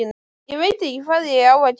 Ég veit ekki hvað ég á að gera